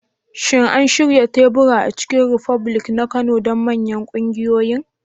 Shin an shirya teburi a Chicken republic na Kano don manyan ƙungiyoyin?